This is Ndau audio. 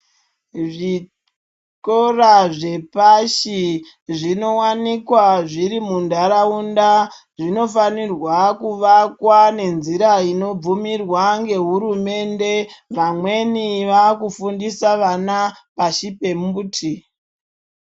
Zvikora zvepashi zvinowanikwa zviri muntaraunda zvinofanirwa kuvakwa nenzira inobvumirwa ngehurumende. Vamweni vakufundisa vana pashi pembuti.